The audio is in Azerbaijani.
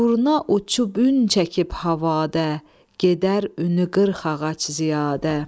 Durna uçub ün çəkib havada, gedər ünü qırxağac ziyadə.